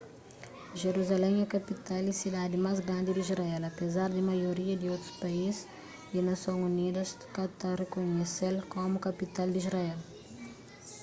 jeruzalén é kapital y sidadi más grandi di israel apezar di maioria di otus país y nason unidas ka ta rikunhese-l komu kapital di israel